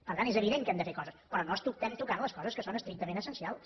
per tant és evident que hem de fer coses però no estem tocant les coses que són estrictament essencials